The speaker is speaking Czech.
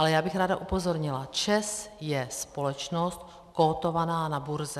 Ale já bych ráda upozornila, ČEZ je společnost kotovaná na burze.